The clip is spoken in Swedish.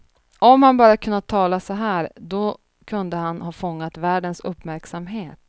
Om han bara hade kunnat tala så här, då kunde han ha fångat världens uppmärksamhet.